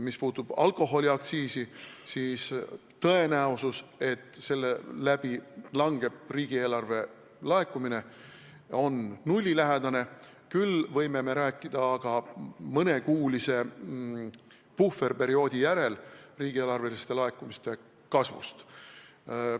Mis puutub alkoholiaktsiisi, siis tõenäosus, et selle tõttu riigieelarve laekumised vähenevad, on nullilähedane, küll võime aga mõnekuulise puhverperioodi järel rääkida riigieelarve laekumiste kasvust.